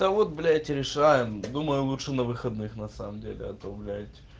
да вот блять решаем думаю лучше на выходных на самом деле а то блять